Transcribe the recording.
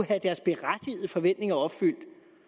have deres berettigede forventninger opfyldt